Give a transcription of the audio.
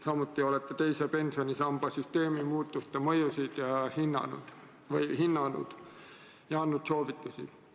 Samuti olete hinnanud teise pensionisamba süsteemi muutuste mõjusid ja andnud soovitusi.